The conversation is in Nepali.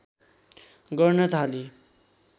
गर्न थाली